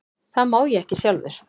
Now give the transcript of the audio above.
Það má ég ekki sjálfur.